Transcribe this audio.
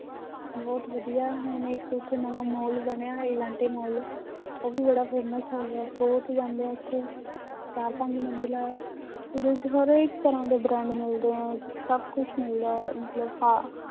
ਬਹੁਤ ਵਧੀਆ ਹੁਣ ਇੱਕ ਉੱਥੇ ਨਵਾਂ ਮਾਲ ਬਣਿਆ ਐਲਾਂਟੇ ਮਾਲ ਉਹ ਵੀ ਬੜਾ famous ਹੈਗਾ ਬਹੁਤ ਜਾਂਦੇ ਹੈ ਉੱਥੇ ਚਾਰ ਪੰਜ ਮੰਜਿਲਾ ਹੈ ਉਹਦੇ ਵਿੱਚ ਹਰ ਇੱਕ ਤਰ੍ਹਾਂ ਦੇ brand ਮਿਲਦੇ ਹੈ ਸਭ ਕੁਛ ਮਿਲਦਾ ਹੈ ਮਤਲਬ ਹਾ